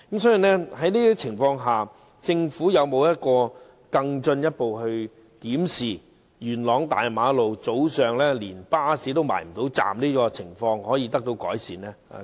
所以，在這種情況下，政府會否進一步檢視如何改善元朗大馬路早上巴士未能靠站停車的情況呢？